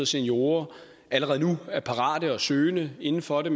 seniorer allerede nu er parate og søgende inden for det